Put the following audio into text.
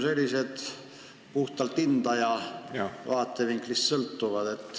See sõltub ju puhtalt hindaja vaatevinklist.